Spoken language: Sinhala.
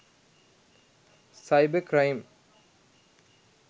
cyber crime